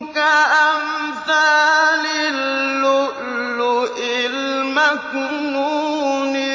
كَأَمْثَالِ اللُّؤْلُؤِ الْمَكْنُونِ